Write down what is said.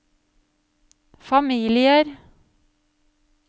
familier